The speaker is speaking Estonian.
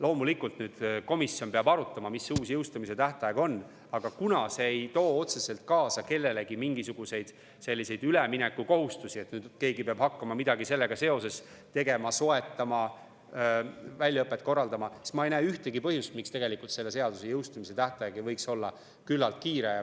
Loomulikult, nüüd komisjon peab arutama, mis uus jõustumise tähtaeg on, aga kuna see ei too kellelegi otseselt kaasa mingisuguseid üleminekukohustusi, et nüüd keegi peab hakkama midagi sellega seoses tegema, soetama, väljaõpet korraldama, siis ma ei näe ühtegi põhjust, miks tegelikult selle seaduse jõustumise tähtaeg ei võiks olla lühike.